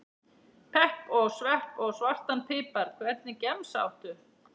Pepp og svepp og svartan pipar Hvernig gemsa áttu?